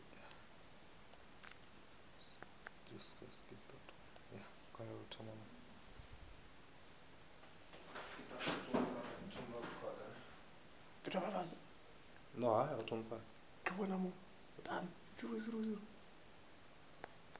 botša ge yena petunia a